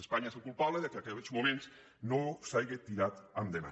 espanya és la culpable que en aquests moments no s’haja tirat endavant